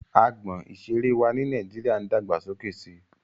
Agbọn ìseré wa ni Nàíjíríà ń dàgbà sókè si.